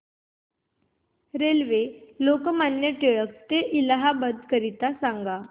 railway Lokmanya Tilak T ते इलाहाबाद करीता सांगा